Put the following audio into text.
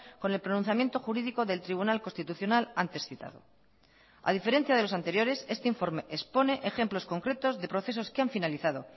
con el pronunciamiento jurídico del tribunal constitucional antes citado a diferencia de los anteriores este informe expone ejemplos concretos de procesos que han finalizado